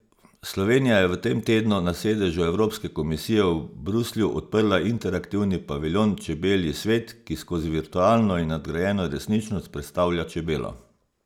Slovenija je v tem tednu na sedežu Evropske komisije v Bruslju odprla interaktivni paviljon Čebelji svet, ki skozi virtualno in nadgrajeno resničnost predstavlja čebelo.